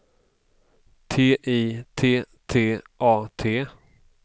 T I T T A T